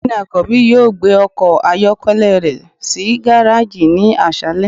ọgbẹni akanbi yọọ gbé ọkọ ayọkẹlẹ rẹ si garejí ni aṣalẹ.